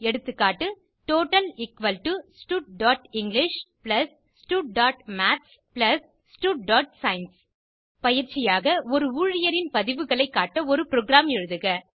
எகா டோட்டல் studஇங்கிலிஷ் studமாத்ஸ் studசயன்ஸ் பயிற்சியாக ஒரு ஊழியரின் பதிவுகளை காட்ட ஒரு புரோகிராம் எழுதுக